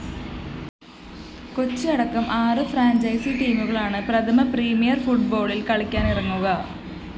കൊച്ചിയടക്കം ആറ് ഫ്രാഞ്ചൈസ്‌ ടീമുകളാണ് പ്രഥമ പ്രീമിയർ ഫുട്‌സാലിൽ കളിക്കാനിറങ്ങുക